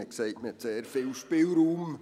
Man hat gesagt, man habe sehr viel Spielraum.